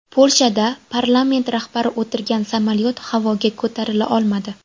Polshada parlament rahbari o‘tirgan samolyot havoga ko‘tarila olmadi.